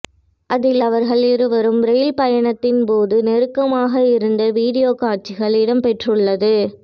அதில் அவர்கள் இருவரும் ரெயில் பயணத்தின் போது நெருகமாக இருந்த வீடியோ காட்சிகள் இடம் பெற்றுள்ளது